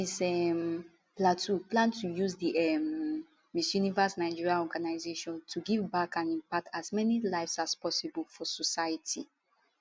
miss um plateau plan to use di um miss universe nigeria organisation to give back and impact as many lives as possible for society